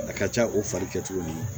A ka ca o fari kɛ cogo min